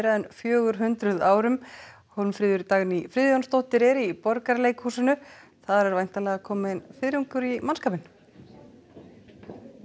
en fjögur hundruð árum Hólmfríður Dagný Friðjónsdóttir er í Borgarleikhúsinu er kominn fiðringur í mannskapinn